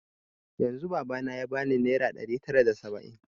Yanzun baba na ya bani naira ɗari tara da saba'in